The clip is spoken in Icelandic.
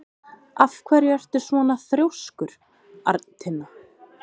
Af hverju ertu svona þrjóskur, Arntinna?